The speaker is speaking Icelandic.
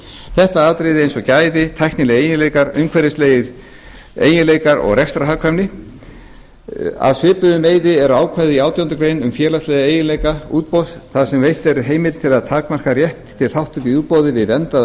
þetta eru atriði eins og gæði tæknilegir eiginleikar umhverfislegir eiginleikar og rekstrarhagkvæmni af svipuðum meiði er ákvæði átjándu grein um félagslega eiginleika útboðs þar sem veitt er heimild til að takmarka rétt til þátttöku í útboði við verndaða